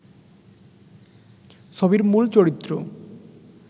ছবির মূল চরিত্র